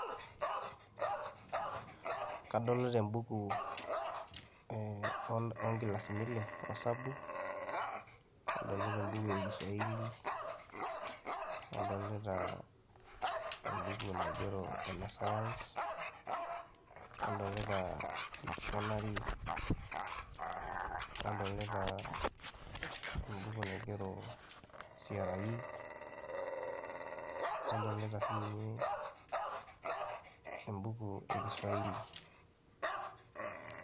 Kadolita embuku ee oo nkilasini ile osabu, nadolita embuku e kiswa5hili, nadolita embuku naigero ene science, nadolita dictionary, nadolita embuku naigero C.R.E, nadolita sininye embuku e kiswahili.